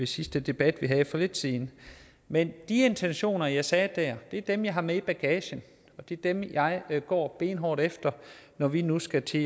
sidste debat for lidt siden men de intentioner jeg sagde der er dem jeg har med i bagagen og det er dem jeg går benhårdt efter når vi nu skal til